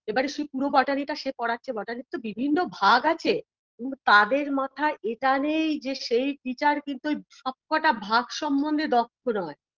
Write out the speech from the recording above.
এবার এসে পুরো botany -টা সে পড়াচ্ছে botany -র তো বিভিন্ন ভাগ আছে তাদের মাথায় এটা নেই যে সেই teacher কিন্তু ঐ সবকটা ভাগ সম্বন্ধে দক্ষ নয়